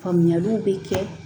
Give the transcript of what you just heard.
Faamuyaliw bɛ kɛ